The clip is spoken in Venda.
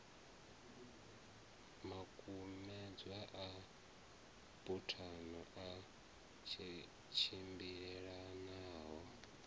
makumedzwa a buthano a tshimbilelanaho